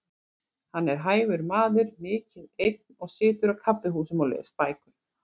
Hann er hæfur maður, mikið einn og situr á kaffihúsum og les bækur.